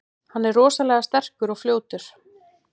Hann er rosalega sterkur og fljótur.